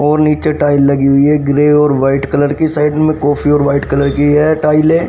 नीचे टाइल लगी हुई है ग्रे और व्हाईट कलर की साइड में कॉफी और व्हाईट कलर की है टाइल है।